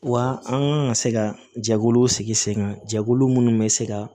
Wa an kan ka se ka jɛkuluw sigi sen kan jɛkulu minnu bɛ se ka